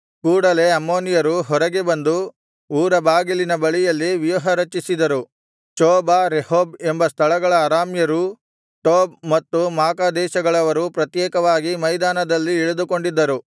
ಕೂಡಲೆ ಅಮ್ಮೋನಿಯರು ಹೊರಗೆ ಬಂದು ಊರ ಬಾಗಿಲಿನ ಬಳಿಯಲ್ಲಿ ವ್ಯೂಹರಚಿಸಿದರು ಚೋಬ ರೆಹೋಬ್ ಎಂಬ ಸ್ಥಳಗಳ ಅರಾಮ್ಯರೂ ಟೋಬ್ ಮತ್ತು ಮಾಕಾ ದೇಶಗಳವರೂ ಪ್ರತ್ಯೇಕವಾಗಿ ಮೈದಾನದಲ್ಲಿ ಇಳಿದುಕೊಂಡಿದ್ದರು